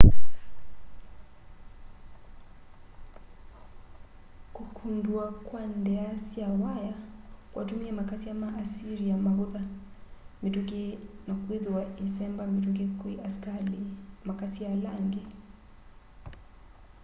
kukundua kwa ndia sya waya kwatumie makasya ma assyria mavutha mituki na kwithwa issemba mituki kwi asikali na makasya ala angi